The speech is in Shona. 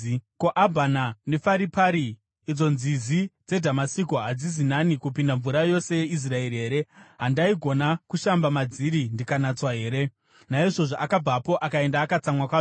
Ko, Abhana neFaripari, idzo nzizi dzeDhamasiko, hadzisi nani kupinda mvura yose yeIsraeri here? Handaigona kushamba madziri ndikanatswa here?” Naizvozvo akabvapo akaenda akatsamwa kwazvo.